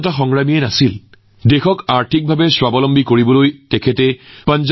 Punjab national বেংকৰ লগতে আন বহুকেইটা প্ৰতিষ্ঠান সৃষ্টিৰ ক্ষেত্ৰত তেওঁ গুৰুত্বপূৰ্ণ ভূমিকা পালন কৰিছিল